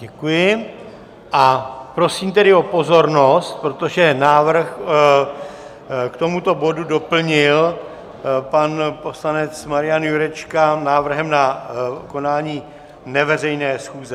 Děkuji, a prosím tedy o pozornost, protože návrh k tomuto bodu doplnil pan poslanec Marian Jurečka návrhem na konání neveřejné schůze.